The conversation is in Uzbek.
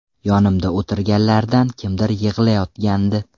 Yonimda o‘tirganlardan kimdir yig‘layotgandi.